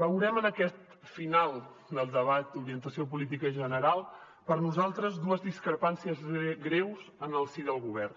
veurem en aquest final del debat d’orientació política general per nosaltres dues discrepàncies greus en el si del govern